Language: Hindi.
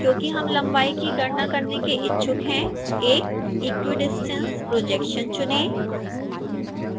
क्योंकि हम लंबाई की गणना करने के इच्छुक हैं एक equidistance projection चुनें